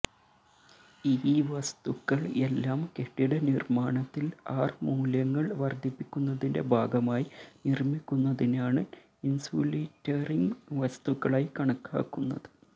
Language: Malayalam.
ഈ വസ്തുക്കൾ എല്ലാം കെട്ടിടനിർമ്മാണത്തിൽ ആർ മൂല്യങ്ങൾ വർദ്ധിപ്പിക്കുന്നതിന്റെ ഭാഗമായി നിർമ്മിക്കുന്നതിനാണ് ഇൻസുലിറ്ററിംഗ് വസ്തുക്കളായി കണക്കാക്കുന്നത്